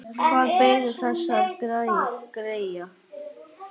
Hvað beið þessara greyja?